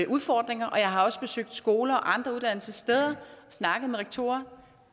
udfordringer og jeg har også besøgt skoler og andre uddannelsessteder og snakket med rektorer